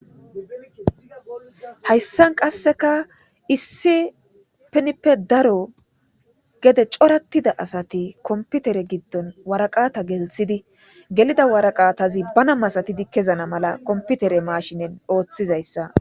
Hayssan qasseka issipinippe daro gede coraththida asathi kompithere giddon waraqaatha gellissidi gelida waraqathazi bana masathidi kezana mala komppithere maashinen ooththizayssa.